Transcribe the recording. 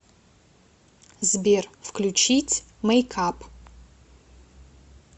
сбер включить мэйк ап